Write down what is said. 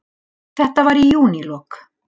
Þetta var í júnílok.